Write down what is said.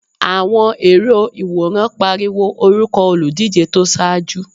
Àwọn èrò ìwòran pariwo orúkọ olùdíje tó ṣáájú.